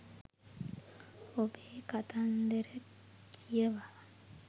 ඔබේ කතන්දර කියවා